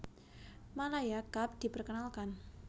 Malaya Cup diperkenalkan